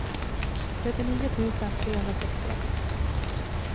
trettionio tusen trehundrasextioett